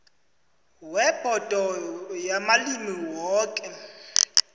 webhodo yamalimi woke